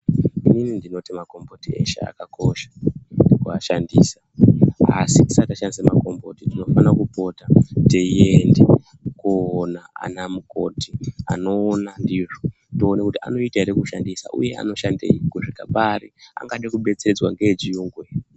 Inini ndinoti magomboti eshe akakosha ,kumashandisa. Asi tisati tashandisa magomboti tinofana kupota teienda koona anamukoti ,anoona ndizvo. Toona kuti anoita ere kushandisa uye anoshandei, kusvika pari, angade kubetseredzwa ngeyechirungu.